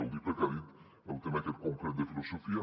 ho dic perquè ha dit el tema aquest concret de filosofia